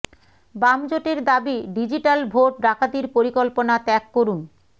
বাম জোটের দাবি ডিজিটাল ভোট ডাকাতির পরিকল্পনা ত্যাগ করুন